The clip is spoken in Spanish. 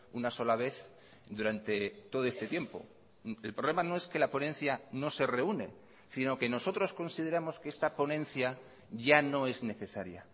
una sola vez durante todo este tiempo el problema no es que la ponencia no se reúne sino que nosotros consideramos que esta ponencia ya no es necesaria